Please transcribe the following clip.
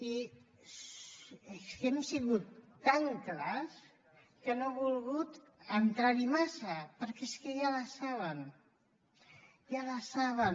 i és que hem sigut tan clars que no he volgut entrarhi massa perquè és que ja les saben ja les saben